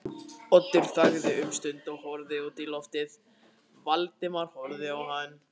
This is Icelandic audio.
Oddur þagði um stund og horfði út í lofið, Valdimar horfði á hann.